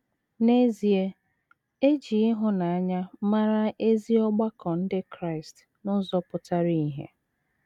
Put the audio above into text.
N’ezie, e ji ịhụnanya mara ezi ọgbakọ ndị Kraịst n’ụzọ pụtara ìhè.